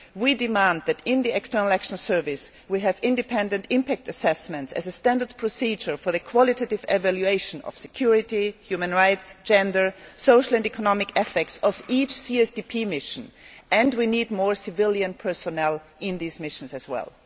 We demand that in the External Action Service, we have independent impact assessments as a standard procedure for the qualitative evaluation of the security, human rights, gender, social and economic effects of each CSDP mission and we need more civilian personnel in these missions as well.